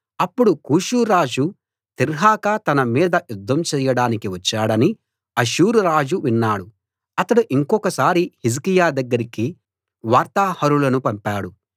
అప్పుడు కూషురాజు తిర్హాకా తన మీద యుద్ధం చెయ్యడానికి వచ్చాడని అష్షూరు రాజు విన్నాడు అతడు ఇంకొకసారి హిజ్కియా దగ్గరికి వార్తాహరులను పంపాడు